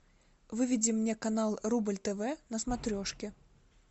выведи мне канал рубль тв на смотрешке